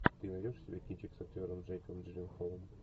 ты найдешь у себя кинчик с актером джейком джилленхолом